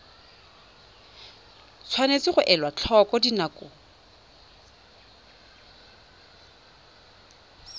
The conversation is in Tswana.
tshwanetse ga elwa tlhoko dinako